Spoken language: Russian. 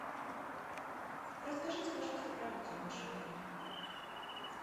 расскажите пожалуйста про акцию в вашем отеле